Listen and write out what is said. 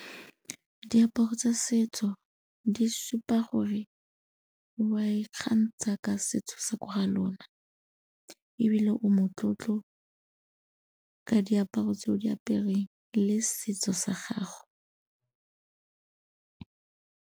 Diaparo tsa setso di supa gore wa ikgantsha ka setso sa ko ga lona ebile o motlotlo ka diaparo tse o di apereng le setso sa gago.